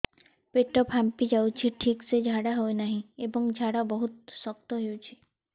ପେଟ ଫାମ୍ପି ଯାଉଛି ଠିକ ସେ ଝାଡା ହେଉନାହିଁ ଏବଂ ଝାଡା ବହୁତ ଶକ୍ତ ହେଉଛି